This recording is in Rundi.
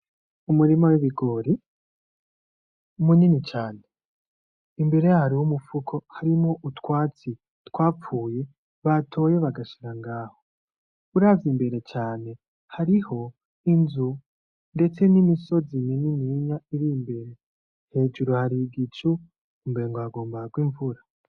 Umurima w'ibigori, munini cane imbere yaho hariho umupfuko harimwo utwatsi twapfuye batoye bagashira ngaho. Uravye imbere cane hariho inzu, ndetse nimisozi minininya irimbere. Hejuru hari igicu umengo hagira hagwe imvura.